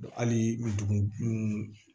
Hali dugu